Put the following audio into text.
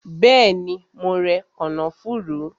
Bẹẹni, mo rẹ kànáfùrú